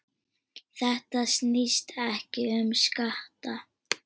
Þetta snýst ekki um skatta.